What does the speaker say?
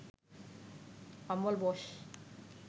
Amal Bose